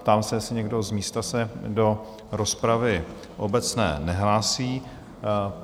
Ptám se, jestli někdo z místa se do rozpravy obecné nehlásí?